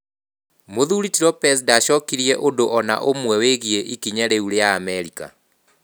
Mũthuri ti Lopez ndacokirie ũndũ o na ũmwe wĩgiĩ ikinya rĩu rĩa Amerika.